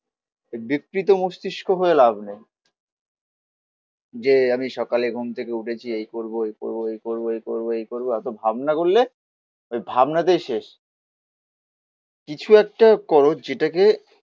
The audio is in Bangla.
বিকৃত মস্তিস্ক হয়ে লাভ নেই. যে আমি সকালে ঘুম থেকে উঠেছি, এই করবো, এই করবো, এই করবো, এই করবো, এই করবো, এতো ভাবনা করলে ওই ভাবনাতেই শেষ কিছু একটা খরচ যেটাকে